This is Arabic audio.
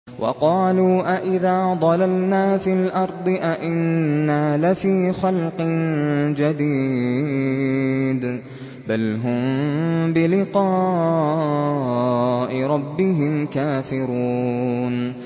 وَقَالُوا أَإِذَا ضَلَلْنَا فِي الْأَرْضِ أَإِنَّا لَفِي خَلْقٍ جَدِيدٍ ۚ بَلْ هُم بِلِقَاءِ رَبِّهِمْ كَافِرُونَ